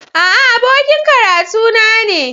A'a, abokin karatuna ne